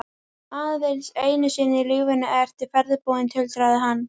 Aðeins einu sinni í lífinu ertu ferðbúinn, tuldraði hann.